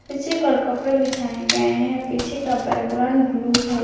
पीछे की ओर कपड़े बिछाए गए हैं पीछे का बैकग्राउंड ब्लू है।